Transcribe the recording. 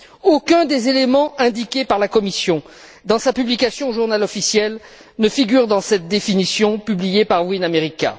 Aucun des éléments indiqués par la Commission, dans sa publication au Journal officiel, ne figure dans cette définition publiée par WineAmerica.